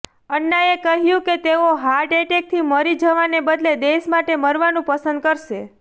અન્નાએ કહ્યું કે તેઓ હાર્ટ એટેકથી મરી જવાને બદલે દેશ માટે મરવાનું પસંદ કરશે